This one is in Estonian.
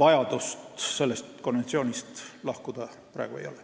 vajadust sellest konventsioonist lahkuda praegu ei ole.